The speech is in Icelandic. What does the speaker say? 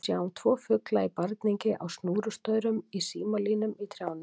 Við sjáum tvo fugla í barningi á snúrustaurum, í símalínum, í trjánum.